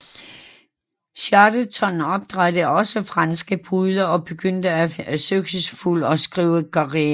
Chatterton opdrættede også franske pudler og begyndte en succesfuld skrivekarriere